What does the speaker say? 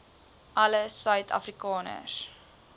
alle suid afrikaners